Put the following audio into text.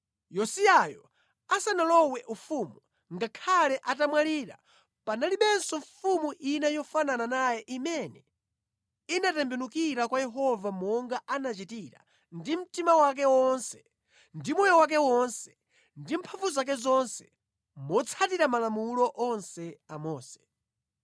Yosiyayo asanalowe ufumu, ngakhale atamwalira, panalibenso mfumu ina yofanana naye imene inatembenukira kwa Yehova monga anachitira, ndi mtima wake wonse, ndi moyo wake wonse, ndi mphamvu zake zonse, motsatira Malamulo onse a Mose.